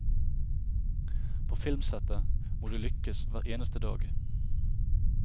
På filmsettet må du lykkes hver eneste dag.